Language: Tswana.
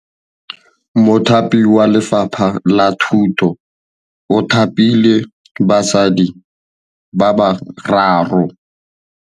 Mothapi wa Lefapha la Thutô o thapile basadi ba ba raro.